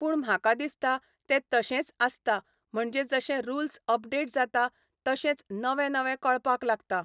पूण म्हाका दिसता ते तशेंच आसता म्हणजे जशें रुल्स अपडेट जाता तशेंच नवें नवें कळपाक लागतां